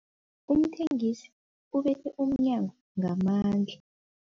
Umthengisi ubethe umnyango ngamandla.